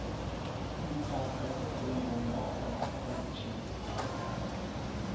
ipahla njengombana kutjhiwo